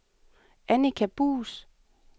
Annika Buus